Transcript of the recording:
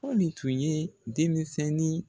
Pɔli tun ye denmisɛnnin